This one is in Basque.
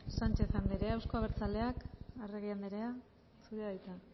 sánchez andrea euzko abertzaleak arregi andrea zurea da hitza